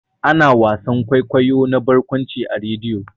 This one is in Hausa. Ana wasan kwaikwayo na barkwanci a rediyo.